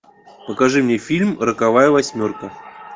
покажи мне фильм роковая восьмерка